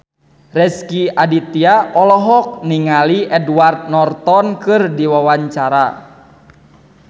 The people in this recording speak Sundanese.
Rezky Aditya olohok ningali Edward Norton keur diwawancara